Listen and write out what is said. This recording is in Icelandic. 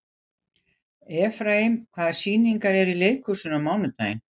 Efraím, hvaða sýningar eru í leikhúsinu á mánudaginn?